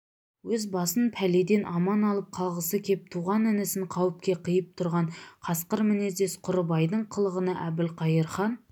өз басын пәледен аман алып қалғысы кеп туған інісін қауіпке қиып тұрған қасқыр мінездес құрыбайдың қылығына әбілқайыр хан